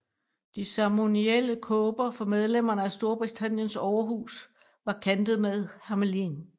De ceremonielle kåber for medlemmerne af Storbritanniens overhus var kantet med hermelin